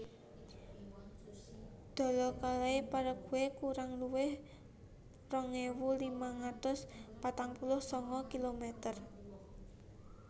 Dawa kalai Paraguay kurang luwih rong ewu limang atus patang puluh sanga kilometer